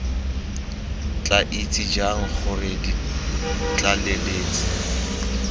tla itse jang gore ditlaleletsi